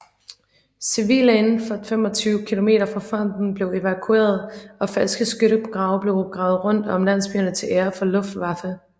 Civile indenfor 25 kilometer fra fronten blev evakueret og falske skyttegrave blev gravet rundt om landsbyerne til ære for Luftwaffe